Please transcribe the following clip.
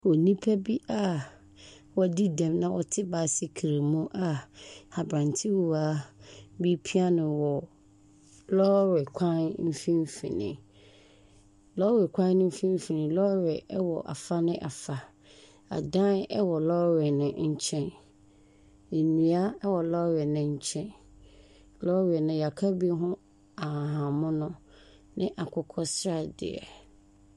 Nnipa bi a woadi dɛm na wɔte baesekele a abrantewa repia no wɔ lɔre kwan mfimfini. Lɔre kwan mfimfini, lɔre wɔ afa ne afa. Adan ɛwɔ lɔre no nkyɛn. Nnua ɛwɔ lɔre ne nkyɛn. Lɔre no yɛaka bi ho ahahammono ne akokɔsradeɛ.